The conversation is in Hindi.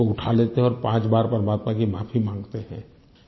उसको उठा लेते हैं और पाँच बार परमात्मा से माफी माँगते हैं